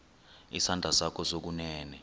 isandla sakho sokunene